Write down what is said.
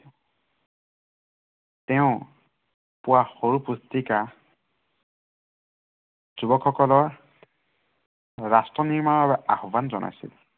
তেওঁ, পোৱা সৰু পুস্তিকা য়ুৱকসকলৰ ৰাষ্ট্ৰ নিৰ্মানৰ বাবে আহ্বান জনাইছিল।